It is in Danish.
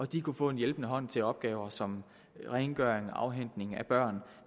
de kunne få en hjælpende hånd til opgaver som rengøring afhentning af børn